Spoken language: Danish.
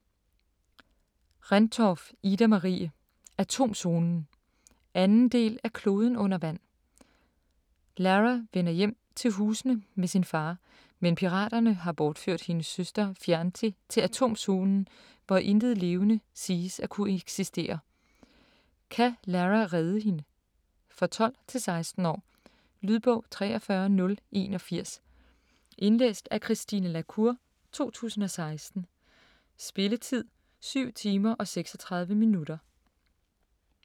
Rendtorff, Ida-Marie: Atomzonen 2. del af Kloden under vand. Lara vender hjem til Husene med sin far, men piraterne har bortført hendes søster Fianti til Atomzonen, hvor intet levende siges at kunne eksistere. Kan Lara redde hende? For 12-16 år. Lydbog 43081 Indlæst af Christine la Cour, 2016. Spilletid: 7 timer, 36 minutter.